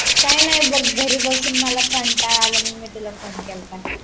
काय नाय बघ घरी बसून मला कंटाळा आलाय म्हणून मी तुला फोन केलता